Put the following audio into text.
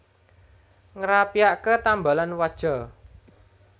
Ngrapiake tambalan waja